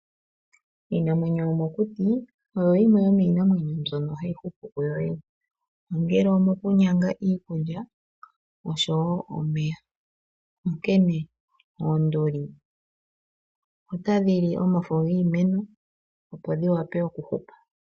Iinamwenyo yomokuti oyo yimwe yomiinamwenyo mbyono hayi hupu ku yo yene, ongele omoku nyanga iikulya noshowo omeya, onkene oonduli otadhi li omafo giimeno opo dhi wape oku hupa.